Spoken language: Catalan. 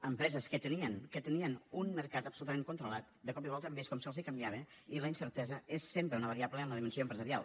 empreses que tenien que tenien un mercat absolutament controlat de cop i volta hem vist com se’ls canviava i la incertesa és sempre una variable en la dimensió empresarial